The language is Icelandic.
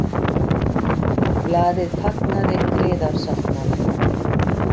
Blaðið fagnaði griðasáttmála